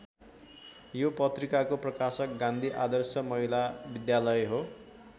यो पत्रिकाको प्रकाशक गान्धी आदर्श महिला विद्यालय हो।